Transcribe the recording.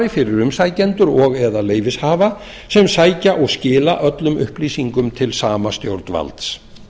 við umsækjendur og eða leyfishafa sem sækja og skila öllum upplýsingum til sama stjórnvalds